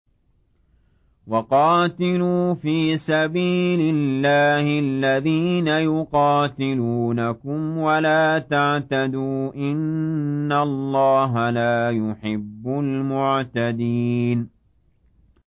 وَقَاتِلُوا فِي سَبِيلِ اللَّهِ الَّذِينَ يُقَاتِلُونَكُمْ وَلَا تَعْتَدُوا ۚ إِنَّ اللَّهَ لَا يُحِبُّ الْمُعْتَدِينَ